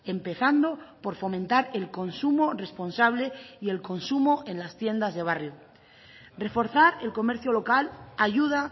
empezando por fomentar el consumo responsable y el consumo en las tiendas de barrio reforzar el comercio local ayuda